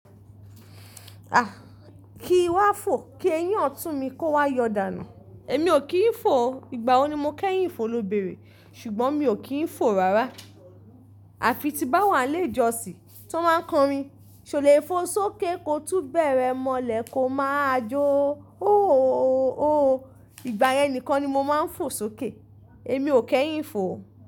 Ah! Ki wá fò, kí ẹyin ọ̀tún mi kó wá yọ dànù. Èmi ò kí ń fò o. Ìgbà wo ni mo kẹ́yìn ìfò ló bẹ̀rẹ̀? Ṣùgbọ́n mi ò kí ń fò rárá. Àfi tí bá wà ilé ijọsí, tí wọ́n máa ń kọrin, "ṣò lè fò sókè ko túbẹ̀rẹ́ mọ́lẹ̀ ko máa jó óòòò." Ìgbà yẹn nìkan ni mo máa ń fò sókè. Èmi ò kẹ́yìn ìfò o.